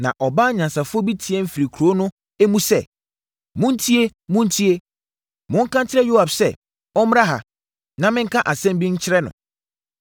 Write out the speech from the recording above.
Na ɔbaa nyansafoɔ bi teaam firi kuro no mu sɛ, “Montie! Montie! Monka nkyerɛ Yoab sɛ, ɔmmra ha, na menka asɛm bi nkyerɛ no.”